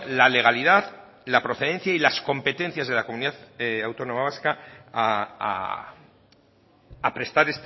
la legalidad la procedencia y las competencias de la comunidad autónoma vasca a prestar